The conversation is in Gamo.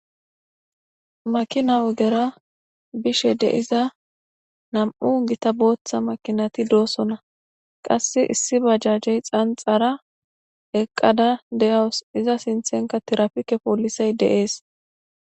makina ogera bishe de iza nam7u gita booththa makinati doosona qasse issi bajjajey xanxara eqqada de7awos iza sinthenka tirafike poolisay deees